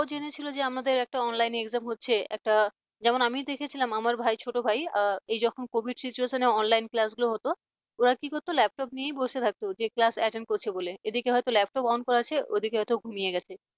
ওরাও জেনেছিল যে আমাদের একটা online exam হচ্ছে একটা আমিও দেখেছিলাম আমার ভাই ছোট ভাই এই যখন covid situationonline class গুলো হত ওরা কি করতো laptop নিয়ে বসে থাকতো যে class attend করছে বলে এদিকে হয়ত laptop on করা আছে ওদিকে হয়তো ঘুমিয়ে গেছে।